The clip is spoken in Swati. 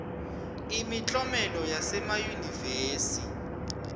imiklomelo yasemayunivesi